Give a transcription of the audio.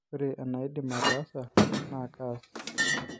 Ore enaidim ataasa naa kaas